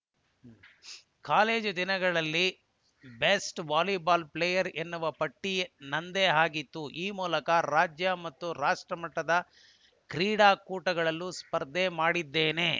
college ದಿನಗಳಲ್ಲಿ best volleyball player ಎನ್ನುವ ಪಟ್ಟನಂದೇ ಆಗಿತ್ತು ಆ ಮೂಲಕ ರಾಜ್ಯ ಮತ್ತು ರಾಷ್ಟಮಟ್ಟದ ಕ್ರೀಟಾ ಕೂಟಗಳಲ್ಲೂ ಸ್ಪರ್ಧೆ ಮಾಡಿದ್ದೇನೆ